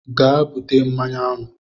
Gaa bute mmanụ aṅụ